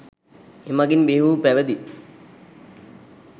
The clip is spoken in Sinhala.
එමඟින් බිහිවූ පැවිදි,